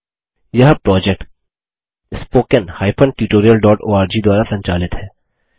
यह project httpspoken tutorialorg द्वारा संचालित है